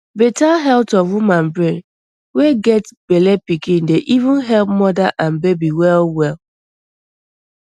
better health of woman brain wey get bellepikn dey even help moda and baby well well